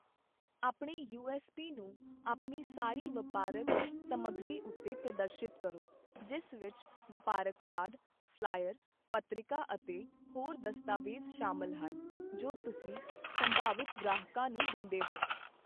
ਆਪਣੇ U S P ਨੂੰ ਆਪਣੀ ਸਾਰੀ ਵਪਾਰਕ ਸਮੱਗਰੀ ਉੱਤੇ ਪ੍ਰਦਰਸ਼ਿਤ ਕਰੋ, ਜਿਸ ਵਿੱਚ ਵਪਾਰਕ ਕਾਰਡ, ਫ਼ਲਾਇਰ, ਪੱਤ੍ਰਿਕਾ ਅਤੇ ਹੋਰ ਦਸਤਾਵੇਜ਼ ਸ਼ਾਮਲ ਹਨ, ਜੋ ਤੁਸੀਂ ਸੰਭਾਵਿਤ ਗ੍ਰਾਹਕਾਂ ਨੂੰ ਦਿੰਦੇ ਹੋ।